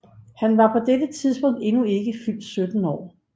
Han var på dette tidspunkt endnu ikke fyldt 17 år